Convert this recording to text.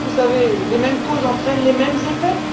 Vous savez, les mêmes causes entraînent les mêmes effets.